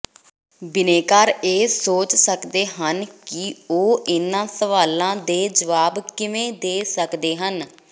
ਬਿਨੈਕਾਰ ਇਹ ਸੋਚ ਸਕਦੇ ਹਨ ਕਿ ਉਹ ਇਨ੍ਹਾਂ ਸਵਾਲਾਂ ਦੇ ਜਵਾਬ ਕਿਵੇਂ ਦੇ ਸਕਦੇ ਹਨ